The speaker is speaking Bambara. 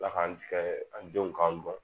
Ala k'an kɛ an denw k'an dɔn